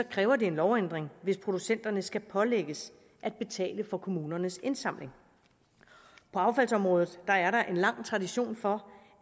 kræver det en lovændring hvis producenterne skal pålægges at betale for kommunernes indsamling på affaldsområdet er der en lang tradition for